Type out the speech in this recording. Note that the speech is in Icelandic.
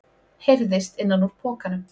heyrðist innan úr pokanum.